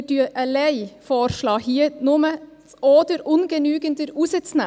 Wir schlagen allein vor, hier nur «oder ungenügender» herauszustreichen.